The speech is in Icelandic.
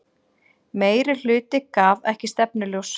Meirihluti gaf ekki stefnuljós